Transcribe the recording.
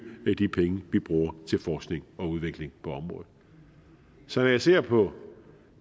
de penge vi bruger til forskning og udvikling på området så når jeg ser på